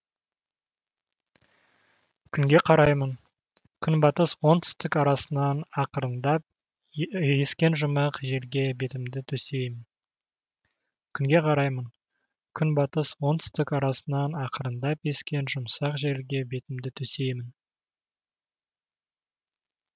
күнге қараймын күнбатыс оңтүстік арасынан ақырындап ескен жұмсақ желге бетімді төсеймін